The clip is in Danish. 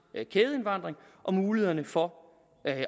kædeindvandring og mulighederne for